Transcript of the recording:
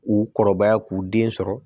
U kɔrɔbaya k'u den sɔrɔ